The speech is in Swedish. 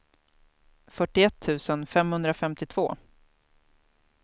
fyrtioett tusen femhundrafemtiotvå